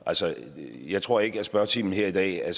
jeg tror ikke at spørgetiden her i dag er